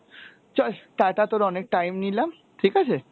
চল টাটা, তোর অনেক time নিলাম, ঠিক আছে,